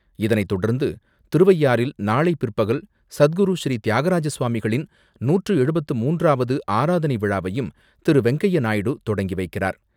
இதனைத்தொடர்ந்து, திருவையாறில் நாளை பிற்பகல் சத்குரு ஸ்ரீ தியாகராஜ சுவாமிகளின் நூற்று எழுபத்து மூன்றாவது ஆராதனை விழாவையும் திரு.வெங்கய்ய நாயுடு தொடங்கி வைக்கிறார்.